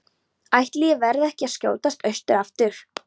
Ætli ég verði ekki að skjótast austur aftur.